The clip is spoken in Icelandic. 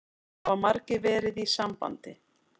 Það hafa margir verið í sambandi